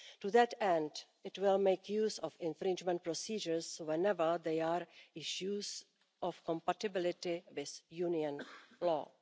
To that end, it will make use of infringement procedures whenever there are issues of compatibility with Union law.